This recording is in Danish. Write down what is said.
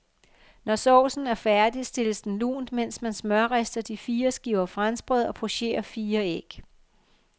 Når saucen er færdig, stilles den lunt, mens man smørrister de fire skiver franskbrød og pocherer fire æg.